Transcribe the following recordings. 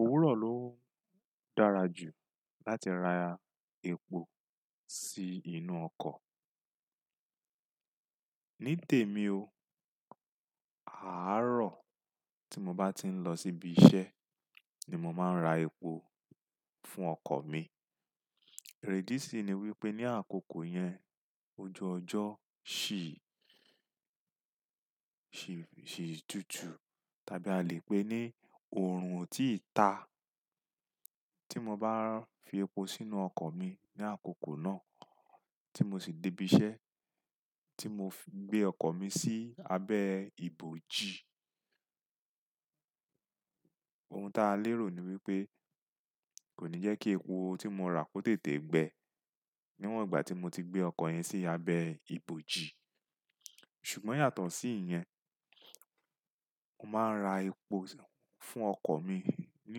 Òwúrọ̀ ló dára jù láti ra epo sí inú ọkọ̀. Ní tèmi o, àárọ̀ tí mo bá ti ń lọ síbi iṣẹ́ ni mo máa ń ra epo fún ọkọ̀ mi. Eré idi sí i ni wípé ní àkókò yẹn oju ọjọ́, ṣì tutu Tàbí a lè pẹ́ ní òòrùn ò tí ì ta. Tí mo bá fi epo sínú ọkọ̀ mi ní àkókò náà tí mo sì dé ibi iṣẹ́ tí mo gbé ọkọ̀ mi sí abẹ́ ìbòji, ohun tí a lérò ni wípé kò ní jẹ́ kí epo tí mo rà kó tètè gbẹ níwọ̀n ìgbà tí mo ti gbé ọkọ̀ yẹn sí abẹ́ ìbòji. Ṣùgbọ́n yàtọ̀ sí ìyẹn, mo máa ń ra epo fún ọkọ̀ mi ní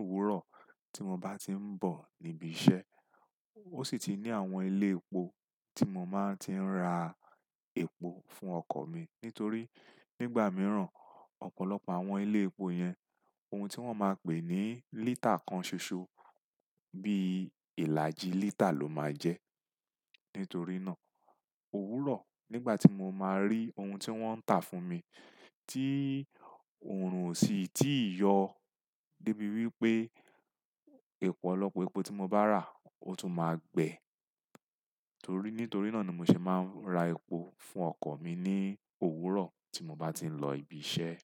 òwúrọ̀ tí mo bá ti ń bọ̀ níbi iṣẹ́. Ó sì ti ní àwọn ilé epo tí mo máa ń ti ń ra epo fún ọkọ̀ mi. Nítorí nígbà mìíràn ọ̀pọ̀lọpọ̀ àwọn ilé epo yẹn ohun tí wọ́n máa pè ní lítà kan ṣoṣo bí ìlàjì lítà ló máa jẹ́. Nítorí náà òwúrọ̀ nígbà tí mo máa rí ohun tí wọ́n ń tà fún mi tí òòrùn ò sì tí yọ débi wípé ìpọ̀lọpọ̀ epo tí mo bá rà ó tún máa gbẹ. Torí, nítorí náà ni mo ṣe máa ń ra epo fún ọkọ̀ mi ní òwúrọ̀ tí mo bá ti ń lọ ibi iṣẹ́.